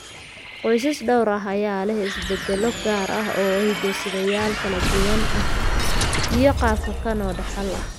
Qoysas dhowr ah ayaa leh isbeddello gaar ah oo hiddo-sideyaal kala duwan ah iyo qaab kakan oo dhaxal ah.